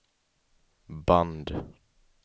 band